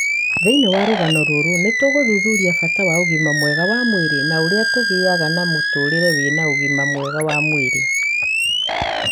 Thĩinĩ wa rũgano rũrũ, nĩ tũgũthuthuria bata wa ũgima mwega wa mwĩrĩ na ũrĩa tũngĩgĩa na mũtũũrĩre wína úgima mwega wa mwírí.